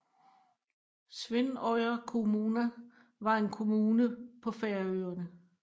Svínoyar kommuna var en kommune på Færøerne